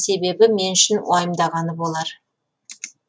ағарған себебі мен үшін уайымдағаны болар